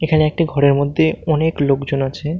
এখানে একটি ঘরের মধ্যে অনেক লোকজন আছে।